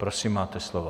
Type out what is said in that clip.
Prosím, máte slovo.